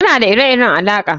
Muna da ire-iren alaƙa